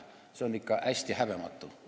See on ikka hästi häbematu.